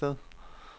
Holsted